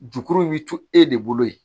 Jukuru bi to e de bolo yen